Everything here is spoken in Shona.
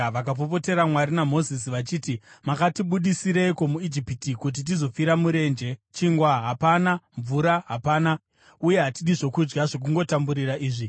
vakapopotera Mwari naMozisi, vachiti, “Makatibudisireiko muIjipiti kuti tizofira murenje? Chingwa hapana! Mvura hapana! Uye hatidi zvokudya zvokungotamburira izvi!”